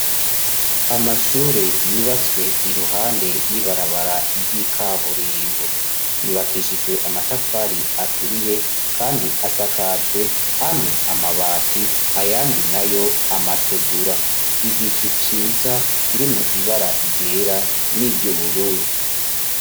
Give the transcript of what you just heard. Amashure yubatswe iruhande y'ibarabara ry'ikaburimbu ,yubakishijwe amatafari aturiye, kandi asakajwe amwe amabati ayandi nayo amategura igicu ciza kirimo ibara ryera niry'ubururu.